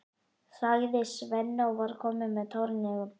sagði Svenni og var kominn með tárin í augun.